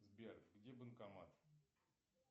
сбер где банкомат